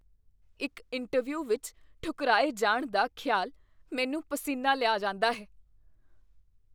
ਇੱਕ ਇੰਟਰਵਿਊ ਵਿੱਚ ਠੁਕਰਾਏ ਜਾਣ ਦਾ ਖਿਆਲ ਮੈਨੂੰ ਪਸੀਨਾ ਲਿਆ ਜਾਂਦਾ ਹੈ।